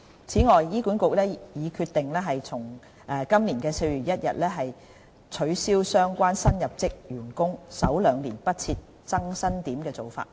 此外，醫管局已決定從今年4月1日起，取消相關新入職員工首兩年不設增薪點的做法。